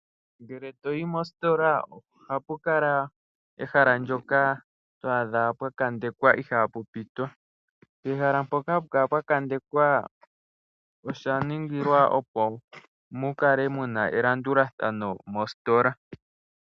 Ngele toyi mositola ohapu kala ehala ndyoka to adha pwa kandekwa ihaapu pitwa. Ehala mpoka hapu kala pwa kandekwa osha ningilwa opo mukale muna elandulathano mositola.